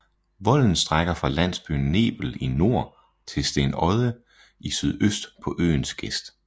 Volden strækker fra landsbyen Nebel i nord til Stenodde i sydøst på øens gest